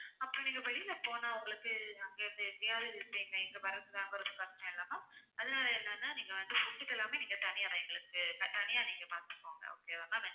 அப்புறம் நீங்க வெளியில போனா உங்களுக்கு அங்கிருந்து எப்படியாவது அதனால என்னன்னா நீங்க வந்து food க்கு எல்லாமே நீங்க தனியா தான் எங்களுக்கு த~ தனியா நீங்க பாத்துக்கோங்க okay வா ma'am